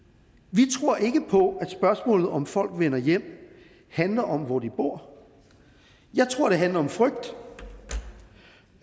vi tror ikke på at spørgsmålet om hvorvidt folk vender hjem handler om hvor de bor jeg tror det handler om frygt